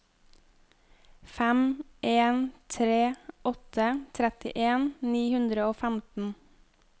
fem en tre åtte trettien ni hundre og femten